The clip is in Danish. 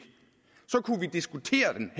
så kunne vi diskutere den